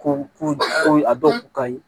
Ko ko a dɔw ka ɲi